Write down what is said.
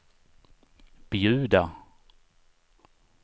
bjuda